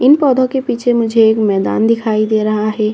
इन पौधों के पीछे मुझे एक मैदान दिखाई दे रहा है।